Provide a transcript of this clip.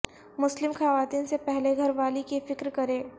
مسلم خواتین سے پہلے گھر والی کی فکر کریں